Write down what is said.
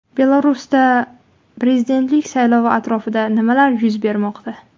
Belarusda prezidentlik saylovi atrofida nimalar yuz bermoqda?